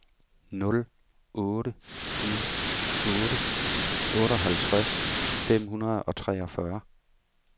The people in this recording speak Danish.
nul otte ni otte otteoghalvtreds fem hundrede og treogfyrre